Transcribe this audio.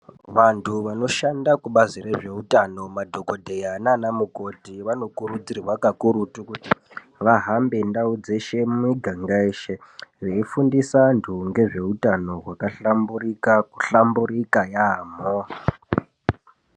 Vantu vanoshanda ku bazi rezve utano madhokodheya nana mukoti vano kurudzirwa kakurutu kuti va hambe ndau dzeshe mu miganga yeshe vei fundisa antu ngezve utano hwaka hlamburika ku hlamburika yamho.